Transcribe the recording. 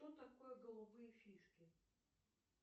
что такое голубые фишки